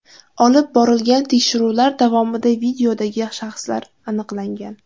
Olib borilgan tekshiruvlar davomida videodagi shaxslar aniqlangan.